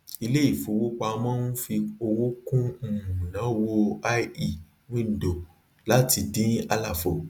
ilé ìfowópamọ ń fi owó kún um ìnáwó ie window láti dín àlàfo